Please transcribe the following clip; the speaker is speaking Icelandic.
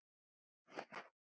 Sólveig: Svafstu vel?